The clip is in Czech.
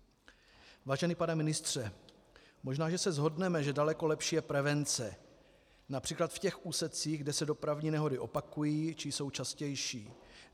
Vážený pane ministře, možná že se shodneme, že daleko lepší je prevence, například v těch úsecích, kde se dopravní nehody opakují či jsou častější.